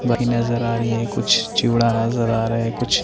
वही नज़र आ रही है कुछ चिवड़ा नज़र आ रहे हैं कुछ --